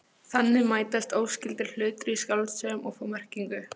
Þannig mætast óskyldir hlutir í skáldsögum og fá merkingu.